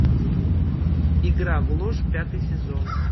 игра в ложь пятый сезон